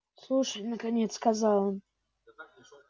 слушай наконец сказал он